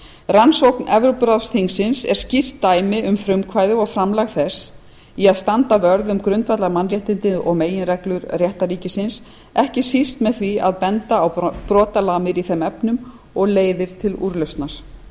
rannsókn evrópuráðsþingsins er skýrt dæmi um frumkvæði og framlag þess í að standa vörð um grundvallar mannréttindi og meginreglur réttarríkisins ekki síst með því að benda á brotalamir í þeim efnum og leiðir til úrlausnar